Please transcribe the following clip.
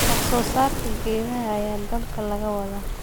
Wax soo saarka galleyda ayaa dalka laga wadaa.